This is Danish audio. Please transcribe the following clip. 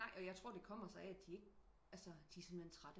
Nej og jeg tror det kommer sig af de ikke de er simpelthen trætte